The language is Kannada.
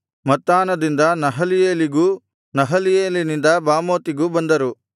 ಮತ್ತಾನದಿಂದ ನಹಲೀಯೇಲಿಗೂ ನಹಲೀಯೇಲಿನಿಂದ ಬಾಮೋತಿಗೂ ಬಂದರು